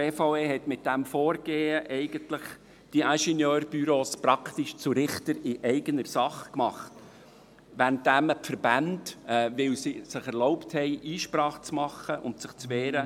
Die BVE hat diese Ingenieurbüros mit ihrem Vorgehen praktisch zu Richtern in eigener Sache gemacht, während man die Verbände gar nicht begrüsst hat, weil diese es sich erlaubt haben, Einsprache zu erheben und sich zu wehren.